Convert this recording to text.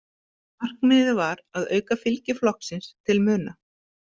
Markmiðið var að auka fylgi flokksins til muna.